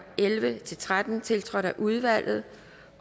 elleve til tretten tiltrådt af udvalget